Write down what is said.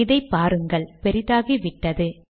இதை பாருங்கள் பெரிதாகிவிட்டது